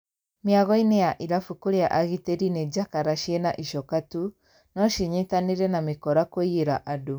Mĩagoinĩ ya irabu kũrĩa agitĩri nĩ jakara cĩna icoka tu, no cinyitanĩre na mĩkora kũiyĩra andũ.